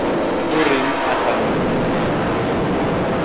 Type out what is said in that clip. o reng a sa mo